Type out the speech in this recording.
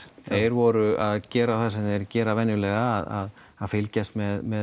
þeir voru að gera það sem þeir gera venjulega að fylgjast með